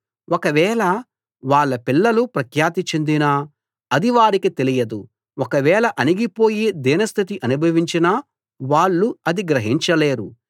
ఒకవేళ వాళ్ళ పిల్లలు ప్రఖ్యాతి చెందినా అది వారికి తెలియదు ఒకవేళ అణిగిపోయి దీనస్థితి అనుభవించినా వాళ్ళు అది గ్రహించలేరు